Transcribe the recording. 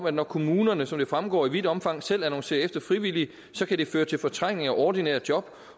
at når kommunerne som det fremgår i vidt omfang selv annoncerer efter frivillige så kan det føre til fortrængning af ordinære job